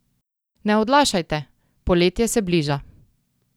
Ne odlašajte, poletje se bliža!